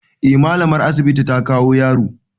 Eh mallamar asibiti ta kawo yaro.